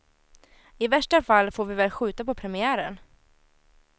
I värsta fall får vi väl skjuta på premiären.